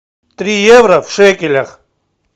три евро в шекелях